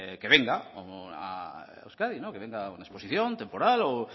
que venga a euskadi que venga a una exposición temporal pues